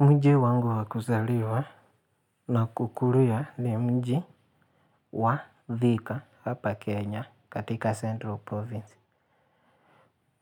Mji wangu wakuzaliwa na kukulia ni mji wa Thika hapa Kenya katika Central Province.